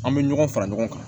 An bɛ ɲɔgɔn fara ɲɔgɔn kan